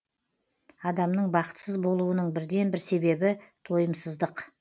адамның бақытсыз болуының бірден бір себебі тойымсыздық